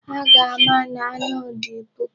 Ha ga-ama na anụ dị puku.